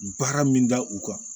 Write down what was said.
Baara min da u kan